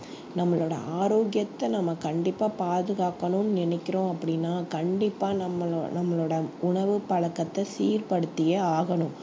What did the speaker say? நம்மளோட ஆரோக்கியத்த நம்ம கண்டிப்பா பாதுகாக்கணும்னு நினைக்கிறோம் அப்படின்னா கண்டிப்பா நம்மளோ~ நம்மளோட உணவு பழக்கத்த சீர்படுத்தியே ஆகணும்